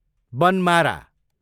बनमारा